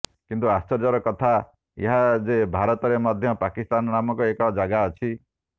କିନ୍ତୁ ଆଶ୍ଚର୍ଯ୍ୟର କଥା ଏହା ଯେ ଭାରତରେ ମଧ୍ୟ ପାକିସ୍ତାନ ନାମକ ଏକ ଜାଗା ଅଛି